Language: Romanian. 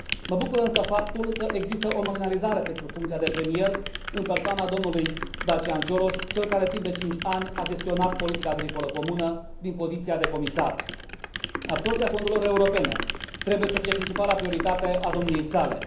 Mă bucură însă faptul că există o nominalizare pentru funcția de premier, în persoana dlui Dacian Cioloș, cel care, timp de cinci ani, a gestionat politica agricolă comună din poziția de comisar. Absorbția fondurilor europene trebuie să fie principala prioritate a domniei sale.